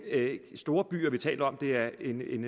en storby vi taler om det er en